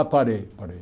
Ah, parei, parei.